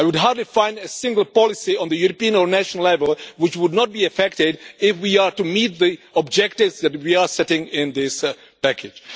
I would hardly find a single policy on the European or national level which would not be affected if we are to meet the objectives that we are setting in this package.